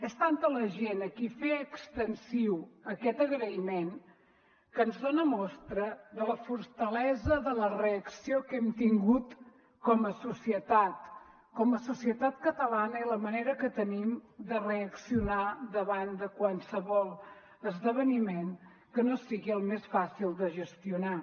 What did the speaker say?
és tanta la gent a qui fer extensiu aquest agraïment que ens dona mostra de la fortalesa de la reacció que hem tingut com a societat com a societat catalana i la manera que tenim de reaccionar davant de qualsevol esdeveniment que no sigui el més fàcil de gestionar